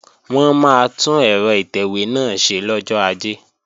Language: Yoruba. Wọn máa tún ẹ̀rọ ìtẹ̀wé náà ṣe lọ́jọ́ Ajé